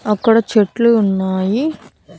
అక్కడ చెట్లు ఉన్నాయి.